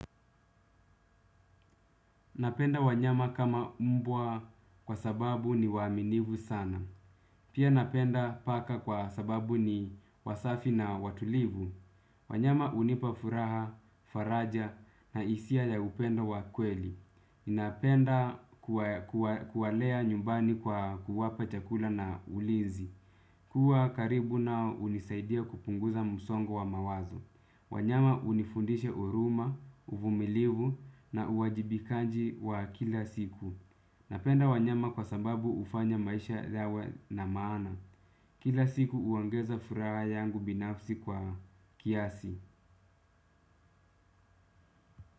Napenda wanyama kama mbwa kwa sababu ni waaminifu sana. Pia napenda paka kwa sababu ni wasafi na watulivu. Wanyama hunipa furaha, faraja na hisia ya upendo wa kweli. Napenda kuwalea nyumbani kwa kuwapa chakula na ulinzi. Kuwa karibu nao hunisaidia kupunguza msongo wa mawazo. Wanyama hunifundisha huruma, uvumilivu na uwajibikaji wa kila siku. Napenda wanyama kwa sababu hufanya maisha yawe na maana. Kila siku huongeza furaha yangu binafsi kwa kiasi.